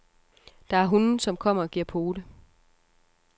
Der er hunde, som kommer og giver pote.